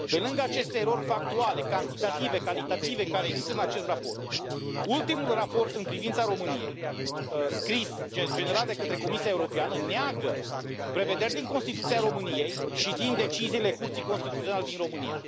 Pe lângă aceste erori factuale, cantitative, calitative care există în acest raport, ultimul raport în privința României, scris, generat de către Comisia Europeană, neagă prevederi din Constituția României și din deciziile Curții Constituționale din România.